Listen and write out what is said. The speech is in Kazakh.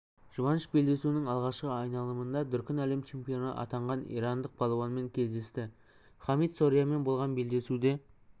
жұбаныш белдесуінің алғашқы айналымында дүркін әлем чемпионы атанған иранық балуанмен кедесті хамид сорианмен болған белдесуде